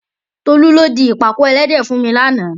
Tolú ló di ìpàkọ́ ẹlẹ́dẹ̀ fún mi lánàá.